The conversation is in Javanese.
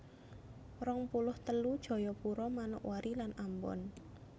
rong puluh telu Jayapura Manokwari lan Ambon